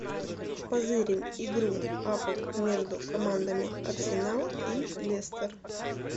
позырим игру апл между командами арсенал и лестер